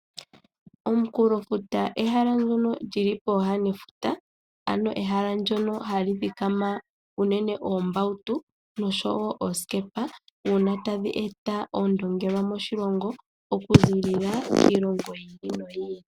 Omunkulofuta ehala ndono lili pooha nefuta ano ehala ndyono hali thikama unene oombautu noshowo oosikepa uuna tadhi eta oondongelwa moshilongo okuziilila kiilongo yi ili noyi ili.